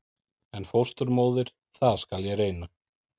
En fósturmóðir- það skal ég reyna.